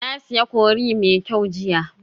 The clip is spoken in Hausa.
Na sayi curry mai kyau jiya